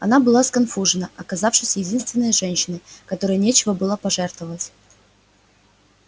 она была сконфужена оказавшись единственной женщиной которой нечего было пожертвовать